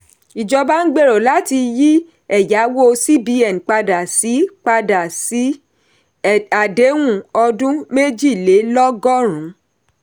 ìjọba ń gbero láti yí ẹ̀yàwó cbn padà sí padà sí àdéhùn ọdún méjìlélọ́gọ́rùn.